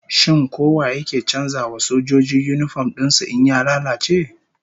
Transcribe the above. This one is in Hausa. Shin ko wa yake canza wa sojoji yinifom din su in ya lalace?